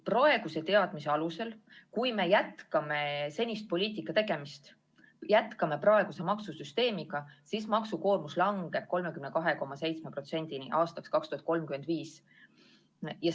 Praeguste teadmiste alusel on nii, et kui me jätkame senist poliitikat, jätkame praegust maksusüsteemi, langeb maksukoormus 2035. aastaks 32,7%-le.